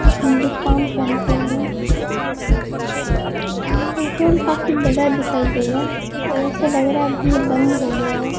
Hindustan petroleum petrol काफी बड़ा दिखाई दे रहा है ऐसे लग रहा है अभी ये बंद हो गया है।